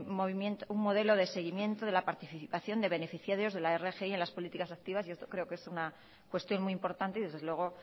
un modelo de seguimiento de la participación de beneficiarios de la rgi en las políticas activas y esto creo que es una cuestión muy importante y desde luego